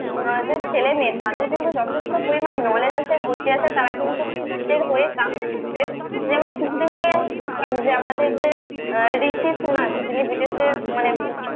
যে ছেলে মেয়ে তাদের কিন্তু যথেষ্ট পরিমাণে knowledge আছে বুদ্ধি আছে তারা কিন্তু যেমন এই কিছুদিন আগে আমি দেখলাম যে আমাদের যে আহ